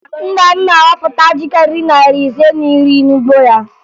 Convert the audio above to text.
Nna m na-ahọpụta ji karịrị narị ise na iri n'ugbo ya